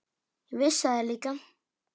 Ég vissi það líka.